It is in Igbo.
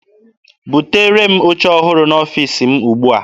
Butere m oche ọhụrụ n'ọfiisi m ugbua!